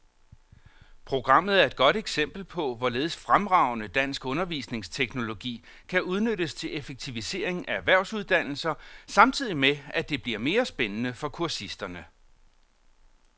Programmet er et godt eksempel på, hvorledes fremragende dansk undervisningsteknologi kan udnyttes til effektivisering af erhvervsuddannelser samtidig med, at det bliver mere spændende for kursisterne.